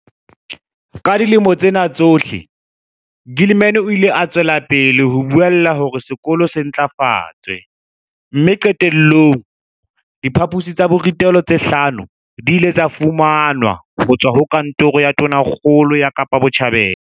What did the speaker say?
Ka dilemo tsena tsohle, Gilman o ile a tswela pele ho buella hore sekolo se ntlafatswe mme qete llong, diphaposi tsa borutelo tse hlano di ile tsa fumanwa ho tswa ho Kantoro ya Tonakgolo ya Kapa Botjhabela.